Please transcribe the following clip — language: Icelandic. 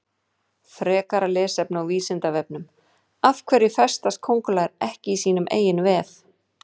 Frekara lesefni á Vísindavefnum Af hverju festast köngulær ekki í sínum eigin vef?